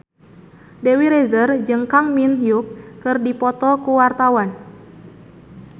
Dewi Rezer jeung Kang Min Hyuk keur dipoto ku wartawan